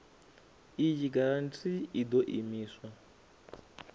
iyi giranthi i ḓo imiswa